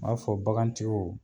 N b'a fɔ bakan tigiw